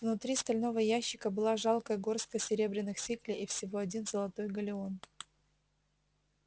внутри стального ящика была жалкая горстка серебряных сиклей и всего один золотой галлеон